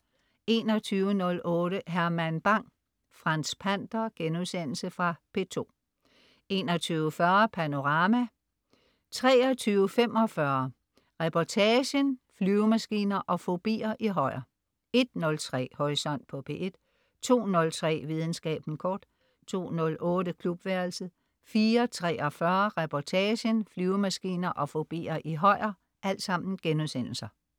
21.08 Herman Bang: Franz Pander.* Fra P2 21.40 Panorama* 23.45 Reportagen: Flyvemaskiner og fobier i Højer* 01.03 Horisont på P1* 02.03 Videnskaben kort* 02.08 Klubværelset* 04.43 Reportagen: Flyvemaskiner og fobier i Højer*